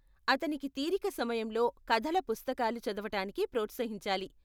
అతనికి తీరిక సమయంలో కథల పుస్తకాలు చదవటానికి ప్రోత్సహించాలి.